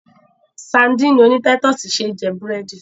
Sadíìnì oní táítọ̀sì ṣé jẹ búrẹ́dì.